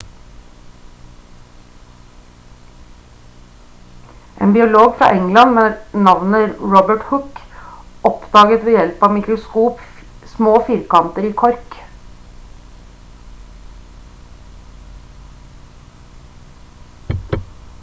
en biolog fra england med navnet robert hooke oppdaget ved hjelp av mikroskop små firkanter i kork